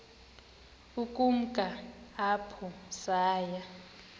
ukumka apho saya